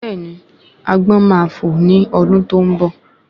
Béèni agbọ́n máa fò ni ọdún tó ń bọ̀